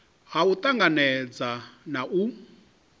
ha u tanganedza na u